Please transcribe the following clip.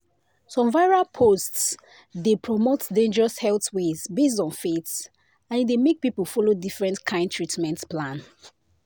some viral posts dey promote dangerous health ways based on faith and e dey make people follow different kind treatment plan.”